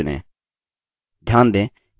enter group चुनें